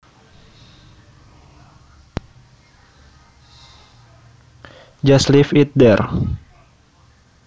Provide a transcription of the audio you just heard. Just leave it there